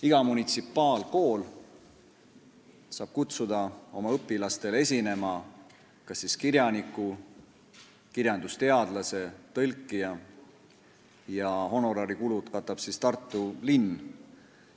Iga munitsipaalkool saab kutsuda oma õpilastele esinema kas kirjaniku, kirjandusteadlase või tõlkija ja honorarikulud katab Tartu linn.